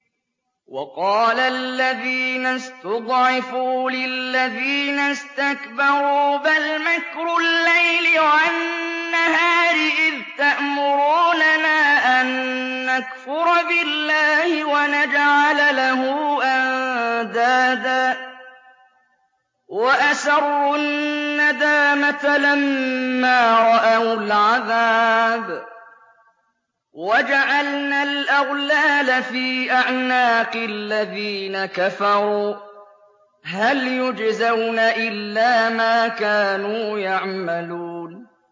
وَقَالَ الَّذِينَ اسْتُضْعِفُوا لِلَّذِينَ اسْتَكْبَرُوا بَلْ مَكْرُ اللَّيْلِ وَالنَّهَارِ إِذْ تَأْمُرُونَنَا أَن نَّكْفُرَ بِاللَّهِ وَنَجْعَلَ لَهُ أَندَادًا ۚ وَأَسَرُّوا النَّدَامَةَ لَمَّا رَأَوُا الْعَذَابَ وَجَعَلْنَا الْأَغْلَالَ فِي أَعْنَاقِ الَّذِينَ كَفَرُوا ۚ هَلْ يُجْزَوْنَ إِلَّا مَا كَانُوا يَعْمَلُونَ